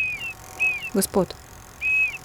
Gospod.